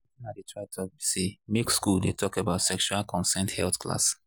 watin i dey try talk be say make school dey talk about sexual consent health class